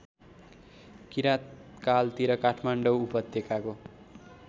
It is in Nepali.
किराँतकालतिर काठमाडौँ उपत्यकाको